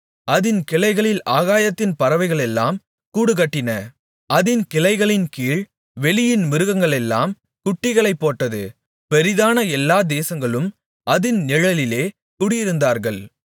அதின் கிளைகளில் ஆகாயத்தின் பறவைகளெல்லாம் கூடுகட்டின அதின் கிளைகளின்கீழ் வெளியின் மிருகங்களெல்லாம் குட்டிகளைப்போட்டது பெரிதான எல்லா தேசகளும் அதின் நிழலிலே குடியிருந்தார்கள்